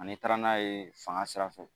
Ani taara n'a ye fanga sira fɛ